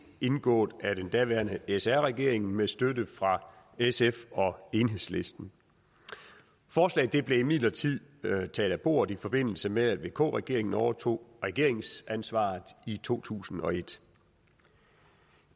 indgået af den daværende sr regering med støtte fra sf og enhedslisten forslaget blev imidlertid taget af bordet i forbindelse med at vk regeringen overtog regeringsansvaret i to tusind og et